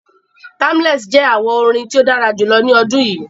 Timeless jẹ àwo-orin tí o dára julọ ní odún yí